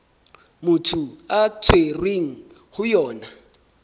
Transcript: motho a tshwerweng ho yona